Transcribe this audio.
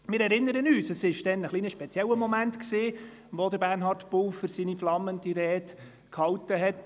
Das war damals ein etwas spezieller Moment, als Bernhard Pulver seine flammende Rede hielt.